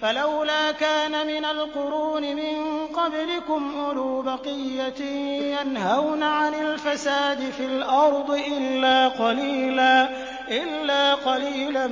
فَلَوْلَا كَانَ مِنَ الْقُرُونِ مِن قَبْلِكُمْ أُولُو بَقِيَّةٍ يَنْهَوْنَ عَنِ الْفَسَادِ فِي الْأَرْضِ إِلَّا قَلِيلًا